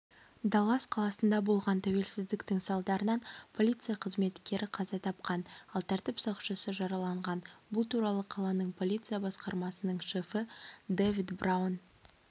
даллас қаласында болған тәртіпсіздік салдарынан полиция қызметкері қаза тапқан ал тәртіп сақшысы жараланған бұл туралы қаланың полиция басқармасының шефі дэвид браун